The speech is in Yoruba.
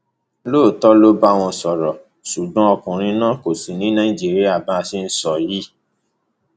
lóòótọ ló bá wọn sọrọ ṣùgbọn ọkùnrin náà kò sì ní nàìjíríà bá a ṣe ń sọ yìí